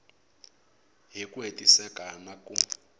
hi ku hetiseka na ku